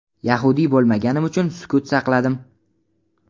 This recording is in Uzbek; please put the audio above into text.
yahudiy bo‘lmaganim uchun sukut saqladim.